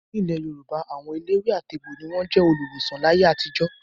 Nílẹ̀ Yorùbá, àwọn eléwé-àtegbò ni wọ́n jẹ́ olùwòsàn láyé àtijó.